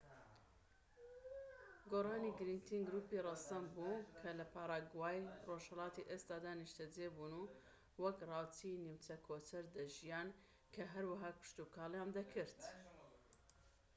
گوارانی گرنگترین گروپی ڕەسەن بوون کە لە پاراگوای ڕۆژهەڵاتی ئێستادا نیشتەجێ بوون وەک ڕاوچی نیمچە کۆچەر دەژیان کە هەروەها کشتوکاڵیشیان دەکرد